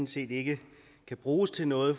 set ikke kan bruges til noget